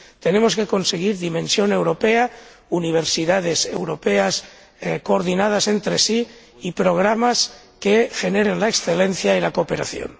Tenemos que conseguir dimensión europea, universidades europeas coordinadas entre sí y programas que generen la excelencia y la cooperación.